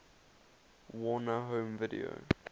warner home video